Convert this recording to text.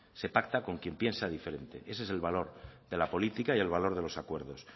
se pacta con quien piensa diferente ese es el valor de la política y el valor de los acuerdos